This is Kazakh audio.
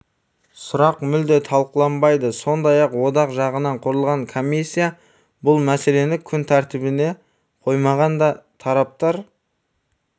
сұрақ мүлде талқыланбайды сондай-ақ одақ жанынан құрылған комиссия бұл мәселені күн тәртібіне қоймаған да тараптар